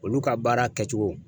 Olu ka baara kɛcogo.